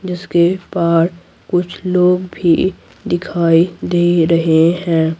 जिसके पार कुछ लोग भी दिखाई दे रहे हैं।